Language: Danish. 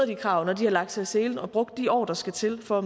de krav når de har lagt sig i selen og brugt de år der skal til for at